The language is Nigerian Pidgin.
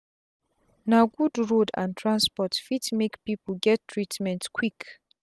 na good road and transport fit make pipu get treatment quick